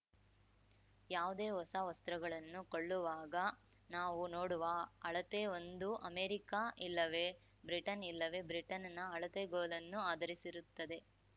ಯಾವುದೇ ಹೊಸ ವಸ್ತ್ರಗಳನ್ನು ಕೊಳ್ಳುವಾಗ ನಾವು ನೋಡುವ ಅಳತೆ ಒಂದೋ ಅಮೆರಿಕ ಇಲ್ಲವೇ ಬ್ರಿಟನ್‌ ಇಲ್ಲವೇ ಬ್ರಿಟನ್‌ನ ಅಳತೆಗೋಲನ್ನು ಆಧರಿಸಿರುತ್ತದೆ